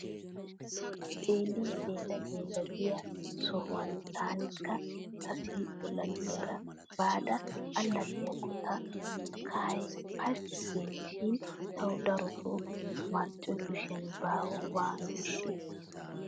Xeellin xeella xeella giya sohuwan taanikka ta siiqqo laggiyaara baada allaxxiyakko ta kahay pashikki gees shin tawu darotoo marccoy kushiyan baawa waano ishshi!